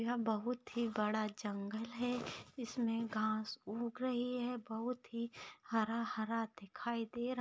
यह बहुत ही बड़ा जंगल है जिसमे घास उग रही है बहुत ही हरा हरा दिखाई दे रहा --